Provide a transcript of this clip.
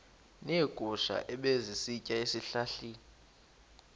neegusha ebezisitya ezihlahleni